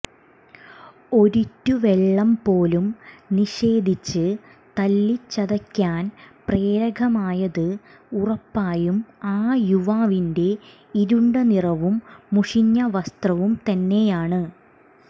ഒരിറ്റു വെള്ളം പോലും നിഷേധിച്ച് തല്ലിച്ചതയ്ക്കാൻ പ്രേരകമായത് ഉറപ്പായും ആ യുവാവിന്റെ ഇരുണ്ട നിറവും മുഷിഞ്ഞ വസ്ത്രവും തന്നെയാണ്